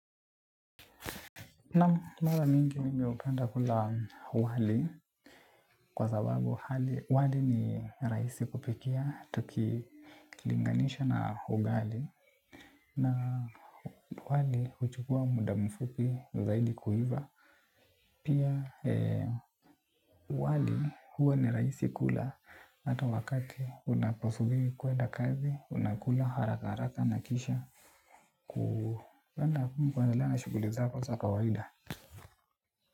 Naam mara mingi mimi hupenda kula wali kwa sababu wali ni rahisi kupikia tuki linganisha na ugali. Na wali huchukua muda mfupi zaidi kuiva. Pia wali huwa ni rahisi kula hata wakati unaposubiri kuenda kazi, unakula haraka haraka nakisha. Kuenda kuwa na nguvu na kuendelea na shughuli zangu za kawaida.